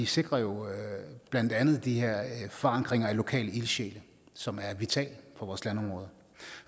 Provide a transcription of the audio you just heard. sikrer jo blandt andet de her forankringer i lokale ildsjæle som er vitale for vores landområder